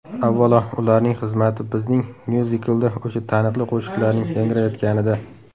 Avvalo, ularning xizmati bizning myuziklda o‘sha taniqli qo‘shiqlarning yangrayotganida.